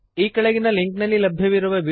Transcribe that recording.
ಈ ಕೆಳಗಿನ ಲಿಂಕ್ನಲ್ಲಿರುವ ವೀಡಿಯೋವನ್ನು ನೋಡಿರಿ